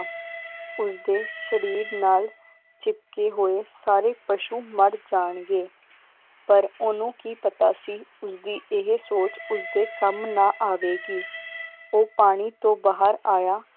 ਉਸਦੇ ਸ਼ਰੀਰ ਨਾਲ ਚਿਪਕੇ ਹੋਏ ਸਾਰੇ ਪਸ਼ੂ ਮਰ ਜਾਣਗੇ ਪਰ ਓਹਨੂੰ ਕੀ ਪਤਾ ਸੀ, ਉਸਦੀ ਇਹ ਸੋਚ ਉਸਦੇ ਕੰਮ ਨਾ ਆਵੇਗੀ ਉਹ ਪਾਣੀ ਤੋਂ ਬਾਹਰ ਆਇਆ।